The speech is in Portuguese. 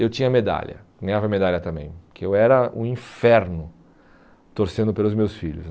Eu tinha medalha, ganhava medalha também, porque eu era um inferno torcendo pelos meus filhos.